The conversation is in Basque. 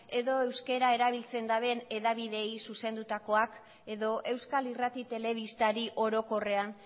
edo euskera erabiltzen daben hedabideei zuzendutakoak edo euskal irrati telebistari orokorrean